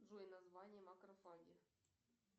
джой название макрофаги